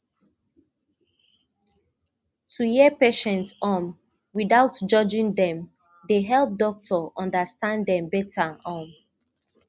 to hear patient um without judging dem dey help doctor understand dem better um